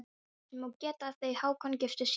Þess má geta að þau Hákon giftust síðar.